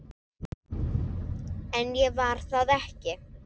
En ég var það ekki.